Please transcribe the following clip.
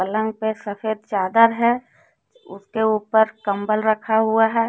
पलंग पे सफेद चादर है उसके ऊपर कंबल रखा हुआ है।